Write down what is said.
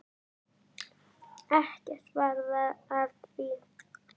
Ekkert varð af því.